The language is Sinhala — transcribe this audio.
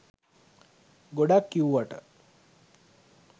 ගොඩක් කිව්වට